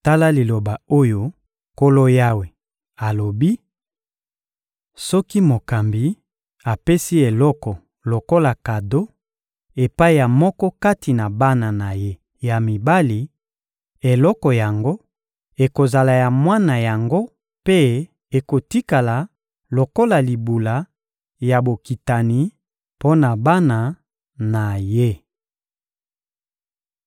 Tala liloba oyo Nkolo Yawe alobi: Soki mokambi apesi eloko lokola kado epai ya moko kati na bana na ye ya mibali, eloko yango ekozala ya mwana yango mpe ekotikala lokola libula ya bokitani mpo na bana na ye.